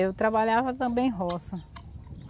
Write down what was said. Eu trabalhava também em roça.